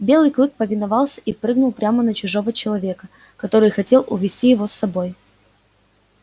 белый клык повиновался и прыгнул прямо на чужого человека который хотел увести его с собой